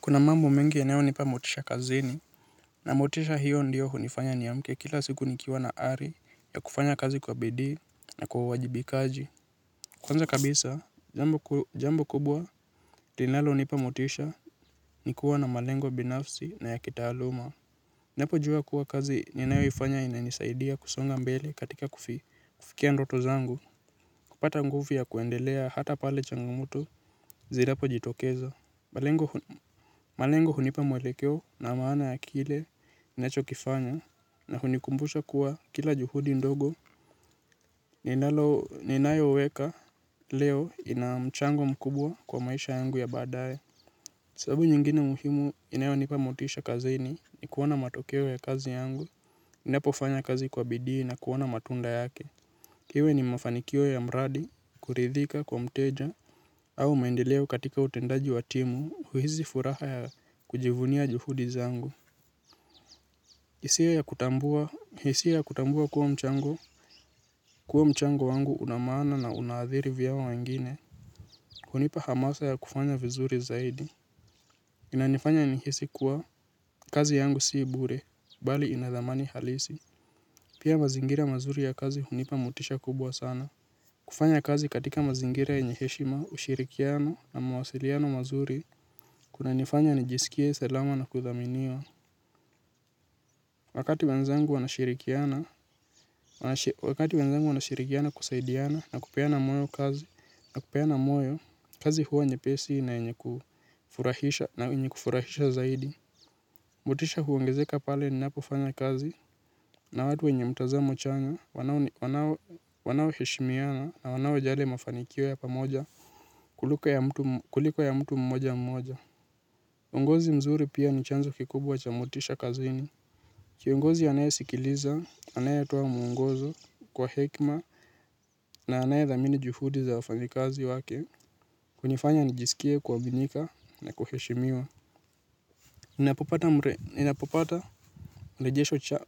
Kuna mambo mengi yanayonipa motisha kazini. Na motisha hiyo ndiyo hunifanya niamke kila siku nikiwa na ari ya kufanya kazi kwa bidii na kwa uwajibikaji. Kwanza kabisa, jambo kubwa linalonipa motisha ni kuwa na malengo binafsi na ya kitaaluma. Napojua kuwa kazi ninayoifanya inanisaidia kusonga mbele katika kufikia ndoto zangu. Kupata nguvu ya kuendelea hata pale changamoto zinapojitokeza. Malengo hunipa mwelekeo na maana ya kile ninachokifanya na hunikumbusha kuwa kila juhudi ndogo ninayoweka leo ina mchango mkubwa kwa maisha yangu ya baadae. Sababu nyingine muhimu inayonipa motisha kazini ni kuona matokeo ya kazi yangu, inapofanya kazi kwa bidii na kuona matunda yake. Iwe ni mafanikio ya mradi, kuridhika kwa mteja, au maendeleo katika utendaji wa timu, huhisifuraha ya kujivunia juhudi zangu. Hisia ya kutambua kuwa mchango, kuwa mchango wangu una maana na una athiri vya wengine. Hunipa hamasa ya kufanya vizuri zaidi. Inanifanya nihisi kuwa, kazi yangu sii bure, bali inathamani halisi. Pia mazingira mazuri ya kazi hunipa mutisha kubwa sana. Kufanya kazi katika mazingira yenye heshima ushirikiano na mawasiliano mazuri kunanifanya nijisikie salama na kuthaminiwa. Wanashirikiana. Wakati wenzangu wanashirikiana kusaidiana na kupeana moyo kazi na kupeana moyo kazi huwa nyepesi na yenye kufurahisha na yenye kufurahisha zaidi. Motisha huongezeka pale ninapofanya kazi na watu wenye mtazamo chanya wanaoheshimiana na wanaojali mafanikio ya pamoja kuliko ya mtu mmoja mmoja. Uongozi mzuri pia ni chanzo kikubwa cha motisha kazini. Kiongozi anaye sikiliza, anaye toa mwngozo kwa hekima na anayethamini juhudi za wafanyakazi wake. Hunifanya nijisikie kuaminika na kuheshimiwa. Ninapopata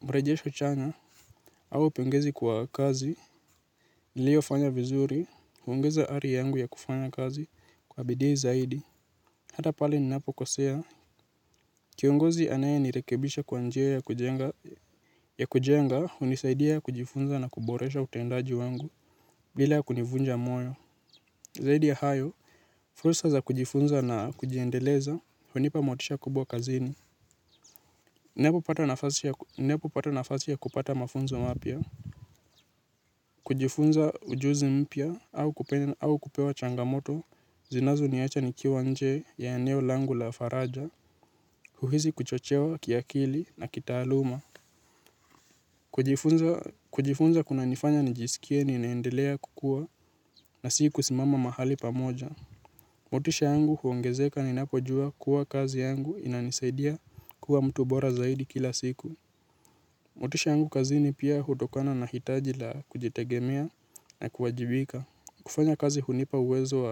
mrejesho chanya, au pongezi kwa kazi, niliyofanya vizuri, hongeza ari yangu ya kufanya kazi, kwa bidii zaidi. Hata pale ninapokosea, kiongozi anayenirekebisha kwa njia ya kujenga, hunisaidia kujifunza na kuboresha utendaji wangu, bila kunivunja moyo. Zaidi ya hayo, fursa za kujifunza na kujiendeleza, hunipa motisha kubwa kazini. Ninapopata nafasi ya kupata mafunzo mapya? Kujifunza ujuzi mpya au kupewa changamoto zinazo niacha nikiwa nje ya eneo langu la faraja. Huhisi kuchochewa kiakili na kitaaluma. Kujifunza kuna nifanya nijisikie ninaendelea kukua na si kusimama mahali pamoja. Motisha yangu huongezeka ninapojua kuwa kazi yangu inanisaidia kuwa mtu bora zaidi kila siku. Mutisha yangu kazini pia hutokana na hitaji la kujitegemea na kuwajibika. Kufanya kazi hunipa uwezo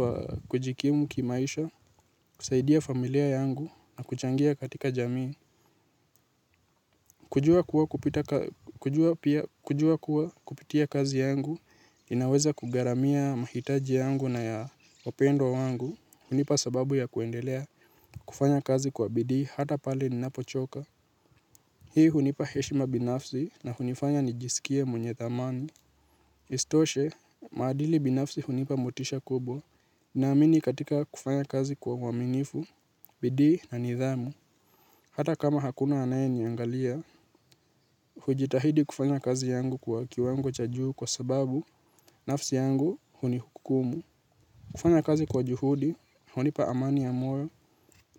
wa kujikimu kimaisha, kusaidia familia yangu na kuchangia katika jamii. Kujua kuwa kupitia kazi yangu, inaweza kugharamia mahitaji yangu na ya wapendwa wangu. Hunipa sababu ya kuendelea kufanya kazi kwa bidii hata pale ninapochoka. Hii hunipa heshima binafsi na hunifanya nijisikie mwenye thamani. Isitoshe, maadili binafsi hunipa motisha kubwa naamini katika kufanya kazi kwa uaminifu, bidii na nidhamu. Hata kama hakuna anaye niangalia, hujitahidi kufanya kazi yangu kwa kiwango cha juu kwa sababu, nafsi yangu hunihukumu. Kufanya kazi kwa juhudi, hunipa amani ya moyo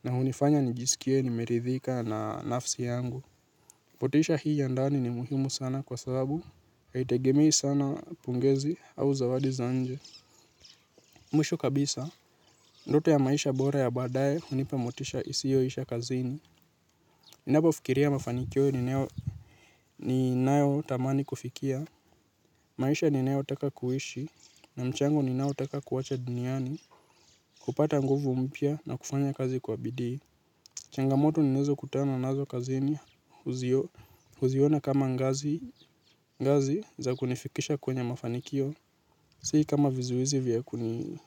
na hunifanya nijisikie nimeridhika na nafsi yangu. Motisha hii ya ndani ni muhimu sana kwa sababu haitegemei sana pongezi au zawadi za nje mwisho kabisa, ndoto ya maisha bora ya baadaye hunipa motisha isiyoisha kazini. Ninapo fikiria mafanikio ninayotamani kufikia maisha ninayotaka kuishi na mchango ninao taka kuacha duniani hupata nguvu mpya na kufanya kazi kwa bidii changamoto ninazokutana nazo kazini huziona kama ngazi za kunifikisha kwenye mafanikio si kama vizuizi vya kuni.